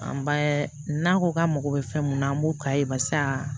An b'a n'a ko k'an mago bɛ fɛn mun na an b'o k'a ye barisa